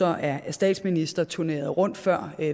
er statsminister turnerede rundt før